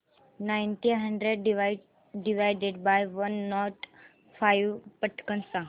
nineteen hundred divided by one not five पटकन सांग